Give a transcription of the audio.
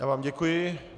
Já vám děkuji.